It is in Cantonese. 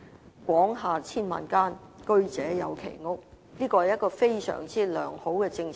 "廣廈千萬間，居者有其屋"，這確是一項相當良好的政策。